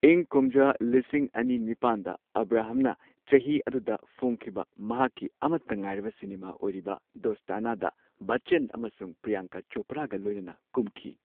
ꯏꯪ ꯀꯨꯝꯖꯥ ꯂꯤꯁꯤꯡ ꯑꯅꯤ ꯅꯤꯄꯥꯟꯗ ꯑꯕ꯭ꯔꯥꯍꯝꯅ ꯆꯍꯤ ꯑꯗꯨꯗ ꯐꯣꯡꯈꯤꯕ ꯃꯍꯥꯛꯀꯤ ꯑꯃꯠꯇ ꯉꯥꯏꯔꯕ ꯁꯤꯅꯦꯃꯥ ꯑꯣꯏꯔꯤꯕ ꯗꯣꯁ꯭ꯇꯥꯅꯥꯗ ꯕꯆ꯭ꯆꯟ ꯑꯃꯁꯨꯡ ꯄ꯭ꯔꯤꯌꯥꯡꯀꯥ ꯆꯣꯄ꯭ꯔꯥꯒ ꯂꯣꯏꯅꯅ ꯀꯨꯝꯈꯤ꯫